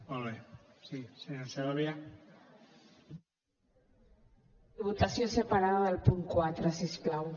votació separada del punt quatre si us plau